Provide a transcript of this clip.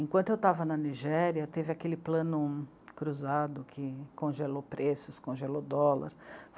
Enquanto eu estava na Nigéria, teve aquele plano cruzado que congelou preços, congelou dólar.